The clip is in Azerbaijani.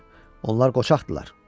Onlar qoçaqdırlar.